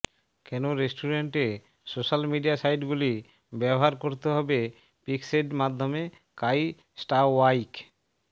কেন রেস্টুরেন্টে social media সাইটগুলি ব্যবহার করতে হবে পিক্সেভ মাধ্যমে কাই স্টাওওয়াইক